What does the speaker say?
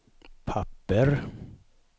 papper